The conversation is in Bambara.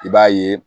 I b'a ye